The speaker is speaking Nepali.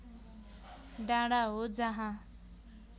डाँडा हो जहाँ